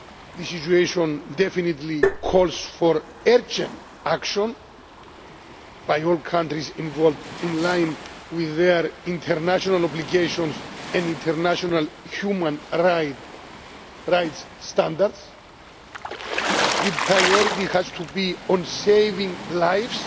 The situation definitely calls for urgent action by all countries involved, in line with their international obligations and international human rights standards. The priority has to be on saving lives